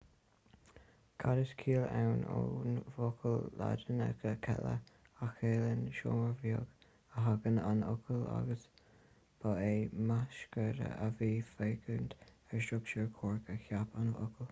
cad is cill ann ón bhfocal laidineach cella a chiallaíonn seomra beag a thagann an focal agus ba é micreascópaí a bhí ag féachaint ar struchtúr coirc a cheap an focal